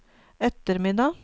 ettermiddag